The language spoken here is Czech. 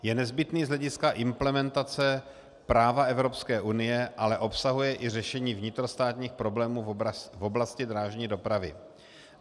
Je nezbytný z hlediska implementace práva Evropské unie, ale obsahuje i řešení vnitrostátních problémů v oblasti drážní dopravy.